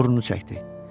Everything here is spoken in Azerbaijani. Burnunu çəkdi.